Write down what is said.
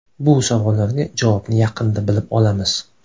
Bu savollarga javobni yaqinda bilib olamiz.